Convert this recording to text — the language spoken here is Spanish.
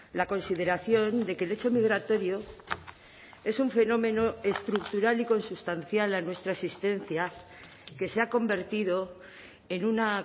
la consideración de que el hecho migratorio es un fenómeno estructural y consustancial a nuestra existencia que se ha convertido en una